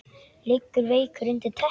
Liggur veikur undir teppi.